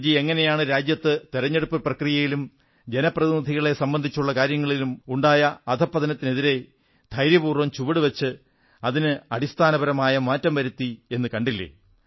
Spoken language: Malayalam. അടൽജി എങ്ങനെയാണ് രാജ്യത്ത് തെരഞ്ഞെടുപ്പു പ്രക്രിയയിലും ജനപ്രതിനിധികളെ സംബന്ധിച്ചുള്ള കാര്യങ്ങളിലും ഉണ്ടായ അധഃപതനത്തിനെതിരെ ധൈര്യപൂർവ്വം ചുവടുവച്ച് അതിന് അടിസ്ഥാനപരമായ മാറ്റം വരുത്തിയത് എന്നു കണ്ടില്ലേ